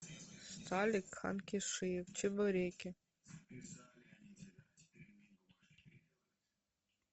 сталик ханкишиев чебуреки